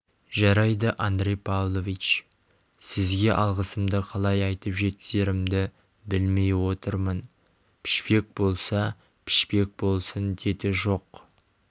жарайды андрей павлович сізге алғысымды қалай айтып жеткізерімді білмей отырмын пішпек болса пішпек болсын деді жоқ